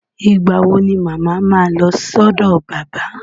Ìgbà wo ni mama ma lọ sọ́dọ̀ bàbá?